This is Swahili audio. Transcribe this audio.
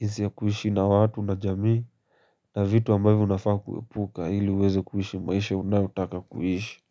jinsi ya kuishi na watu na jamii, na vitu ambavyo unafaa kuepuka ili uweze kuhishi maisha unayotaka kuhishi.